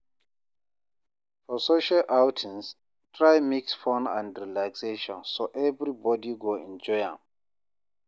For social outings, try mix fun and relaxation so everybody go enjoy am